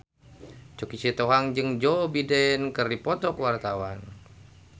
Choky Sitohang jeung Joe Biden keur dipoto ku wartawan